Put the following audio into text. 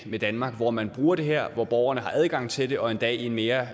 med danmark hvor man bruger det her og hvor borgerne har adgang til det og endda i en mere